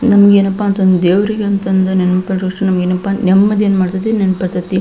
ನಮ್ಗೇನಪ್ಪಾ ಅಂತಂದ್ ದೇವ್ರಿಗೆ ಅಂತಂದು ನೆನ್ಪಿಡುವಷ್ಟು ನಮಿಗೇನಪ್ಪಾ ನೆಮ್ಮದಿ ಏನ್ ಮಾಡತೈತಿ ನೆನ್ಪತತಿ .